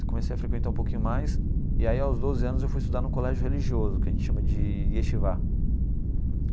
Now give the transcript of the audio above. Eu comecei a frequentar um pouquinho mais e aí aos doze anos eu fui estudar no colégio religioso, que a gente chama de Yeshivot.